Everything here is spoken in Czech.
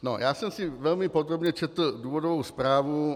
Já jsem si velmi podrobně četl důvodovou zprávu.